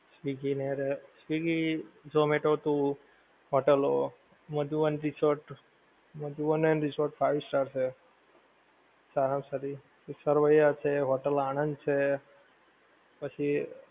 swiggy ને રે swiggy zomato તું hotel લો મધુવન resort મધુવન ને resort five star છે સારા માં સારી એક સરોયા છે hotel આનંદ છે પછી